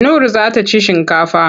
Nur za ta ci shinkafa.